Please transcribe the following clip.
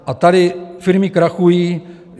A tady firmy krachují.